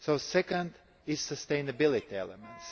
Second is the sustainability element.